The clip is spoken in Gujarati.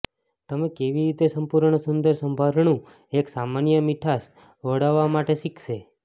તમે કેવી રીતે સંપૂર્ણ સુંદર સંભારણું એક સામાન્ય મીઠાસ વળવા માટે શીખશે